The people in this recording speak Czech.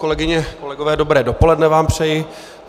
Kolegyně, kolegové, dobré dopoledne vám přeji.